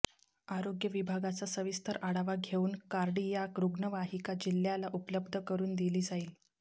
आरोग्य विभागाचा सविस्तर आढावा घेवून कार्डीयाक रूग्णवाहिका जिल्ह्याला उपलब्ध करून दिली जाईल